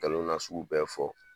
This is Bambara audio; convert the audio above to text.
Ngalon nasugu bɛɛ fɔ.